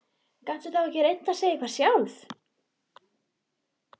Gastu þá ekki reynt að segja eitthvað sjálf?